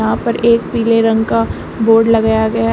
यहां पर एक पीले रंग का बोर्ड लगाया गया है।